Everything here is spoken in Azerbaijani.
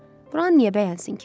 Buranı niyə bəyənsin ki?